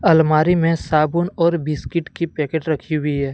अलमारी में साबुन और बिस्किट की पैकेट रखी हुई है।